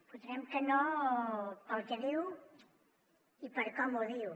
votarem que no pel que diu i per com ho diu